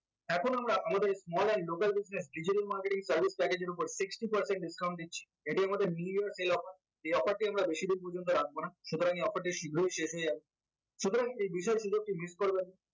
এখন আমরা আমাদের small and local business digital marketing service strategy এর উপর sixty percent discount দিচ্ছি এটি আমাদের many years sale offer এই offer টি আমরা বেশিদিন পর্যন্ত রাখবো না সুতরাং এই offer টি শীঘ্রই শেষ হয়ে যাবে সুতরাং এই বিষয়গুলোকে mail করবেন